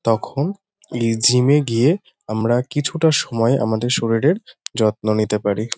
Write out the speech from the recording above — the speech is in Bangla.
তখন এই জিম -এ গিয়ে আমরা কিছুটা সময় আমাদের শরীরের যত্ন নিতে পারি।